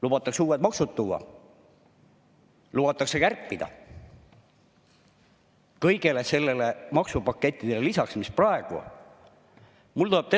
Lubatakse uued maksud, lubatakse lisaks kõigele sellele maksupaketile, mis praegu on, veel kärpida.